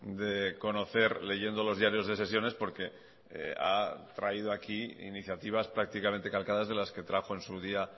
de conocer leyendo los diarios de sesiones porque ha traído aquí iniciativas prácticamente calcadas de las que trajo en su día